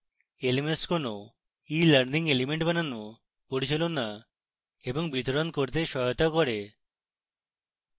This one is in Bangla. lms কোনো elearning এলিমেন্ট বানানো পরিচালনা এবং বিতরণ করতে সহায়তা করে